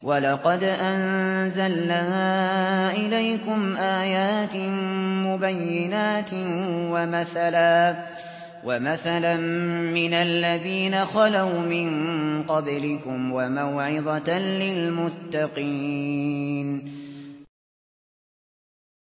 وَلَقَدْ أَنزَلْنَا إِلَيْكُمْ آيَاتٍ مُّبَيِّنَاتٍ وَمَثَلًا مِّنَ الَّذِينَ خَلَوْا مِن قَبْلِكُمْ وَمَوْعِظَةً لِّلْمُتَّقِينَ